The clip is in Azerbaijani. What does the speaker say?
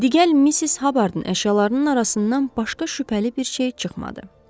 Digər Missis Habardın əşyalarının arasından başqa şübhəli bir şey çıxmadı.